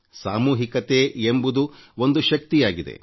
ಸಾಮೂಹಿಕತೆ ಎಂಬುದು ಒಂದು ಶಕ್ತಿಯಾಗಿದೆ